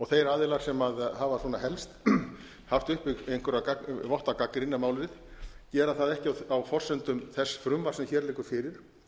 þeir aðilar sem hafa svona helst haft uppi einhvern vott af gagnrýni um málið gera það ekki á forsendum þess frumvarps sem hér liggur fyrir